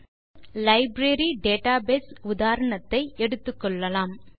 இதற்கு library database உதாரணத்தை எடுத்துக்கொள்ளலாம்